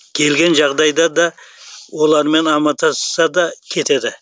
келген жағдайда да олармен амандасса да кетеді